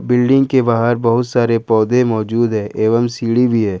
Building के बाहर बहुत सारे पौधे मौजूद है एवं सीढ़ी भी है।